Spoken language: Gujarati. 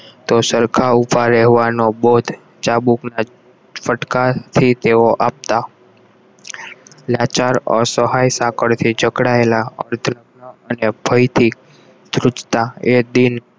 તો સરખા ઉભો રહેવાનો બોધ ચાબુક ફટકા તે તેઓ આપતા લાચાર અસહાય સાંકળથી ચકડાયેલા ધ્રુજતા